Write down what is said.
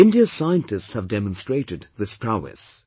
India's scientists have demonstrated this prowess